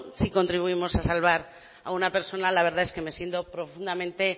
si contribuimos a salvar a una persona la verdad es que me siento profundamente